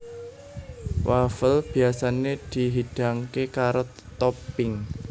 Wafel biyasané dihidangké karo topping